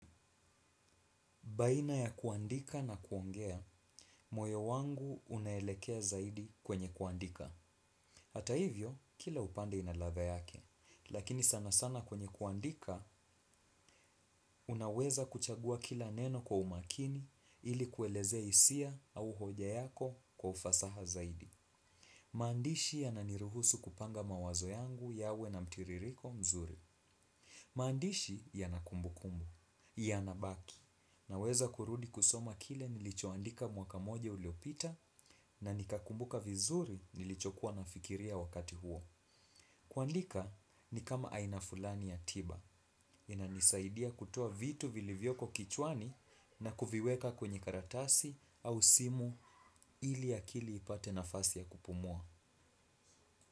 Baina ya kuandika na kuongea, moyo wangu unaelekea zaidi kwenye kuandika. Hata hivyo, kila upande inaladha yake. Lakini sana sana kwenye kuandika, unaweza kuchagua kila neno kwa umakini ili kuelezea hisia au hoja yako kwa ufasaha zaidi. Maandishi yananiruhusu kupanga mawazo yangu yawe na mtiririko mzuri. Maandishi yana kumbukumbu, ya nabaki na weza kurudi kusoma kile nilichoandika mwaka moja uliopita na nikakumbuka vizuri nilicho kuwa nafikiria wakati huo. Kuandika ni kama aina fulani ya tiba inanisaidia kutua vitu vilivyoko kichwani na kuviweka kwenye karatasi au simu ili akili ipate nafasi ya kupumua.